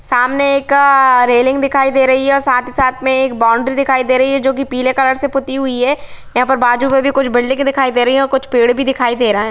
सामने एक रेलिंग दिखाई दे रही हैं और साथ-ही-साथ में एक बाउंडरी दिखाई दे रही है जो कि पीले कलर से पुती हुई हैं यहाॅं पर बाजू में भी कुछ बिल्डिंग दिखाई दे रही है और कुछ पेड़ भी दिखाई दे रहा है।